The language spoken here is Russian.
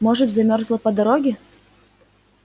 может замёрзла по дороге